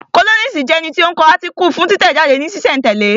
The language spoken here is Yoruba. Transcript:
Kólọ́nisi jẹ́ ẹni tí ó ń kọ átíkù fún títẹ̀ jáde ní sísẹ̀ n tẹ̀lẹ́